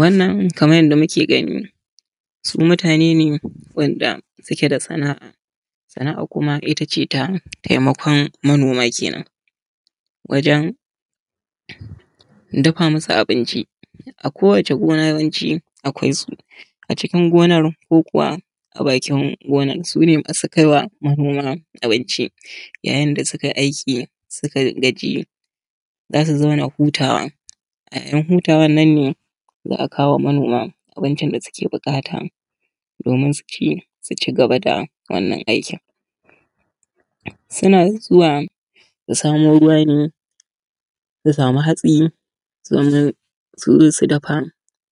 Wannan kaman yadda muke gani su mutane ne wanda suke da sana'a. Sana'a kuma ita ce taimakon manoma kenan, wajan dafa masu abinci a kowacce gona yawanci gona akwai su a cikin gonar ko kuwa a bakin gonar, su ne masu kai wa manoman abinci yayin da suka yi aiki suka gaji, za su zauna hutawa, a ‘yar hutawan nan ne za a kawo ma manoman abincin da suke buƙata domin su ci su cigaba da wannan aikin. Suna zuwa su samo ruwa ne, su samu hatsi, sannan su zo su dafa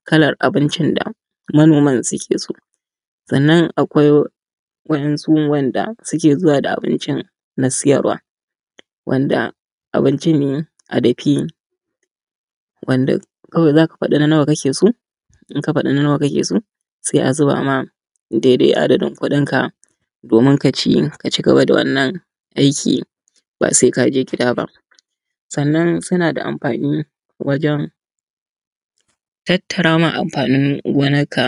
kallar abincin da manoman suke so. Sannan akwai wasu waɗanda suke zuwa da abincin na siyarwa wanda abinci ne a rufe wanda za ka faɗa na nawa kake so, inka faɗa nawa nawa kake so, sai a zuba maka dai dai adadin kuɗinka domin kaci, kaci gaba da wannan aiki ba sai ka je gida ba. Sannan suna da amfani wajan tattara ma amfanin gonarka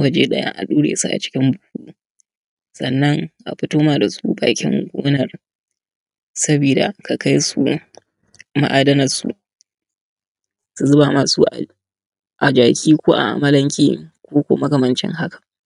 waje ɗaya a ɗure su a cikin buhu, sannan a fito ma da su bakin gonar saboda ka kai su ma’adanan su, su zuba maka su a jaki ko a amalanke ko kuma makamancin haka.